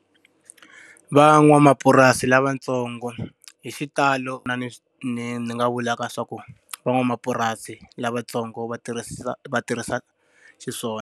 Van'wamapurasi lavatsongo, hi xitalo na mi ni ni nga vulaka swa ku van'wamapurasi lavatsongo va va tirhisa xiswona.